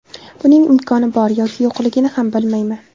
Buning imkoni bor yoki yo‘qligini ham bilmayman.